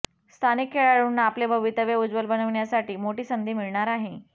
स्थानिक खेळाडूंना आपले भवितव्य उज्वल बनविण्यासाठी मोठी संधी मिळणार आहे